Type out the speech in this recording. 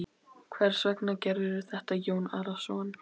Hvers vegna gerirðu þetta Jón Arason?